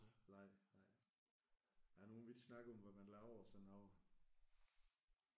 Nej nej. Der er nogen vi har ikke snakket om hvad man laver og sådan noget